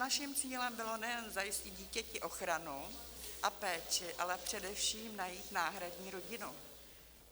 Naším cílem bylo nejen zajistit dítěti ochranu a péči, ale především najít náhradní rodinu.